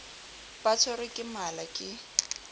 ba tshwerwe ke mala ke